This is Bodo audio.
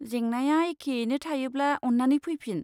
जेंनाया एखेयैनो थायोब्ला अन्नानै फैफिन।